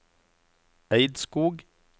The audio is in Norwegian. Eidskog